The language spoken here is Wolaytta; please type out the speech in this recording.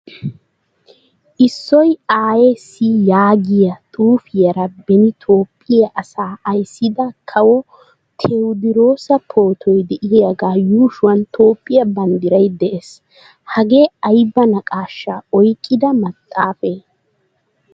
Issoy aayessi yaagiyaa xuufiyaara beni Toophphiyaa asaa ayssida kawo Tewodirossa pootoy deiyaga yuushuwan Toophphiyaa banddiray de'ees. Hagee aybaa naaqaashsha oyqqida maxaafee?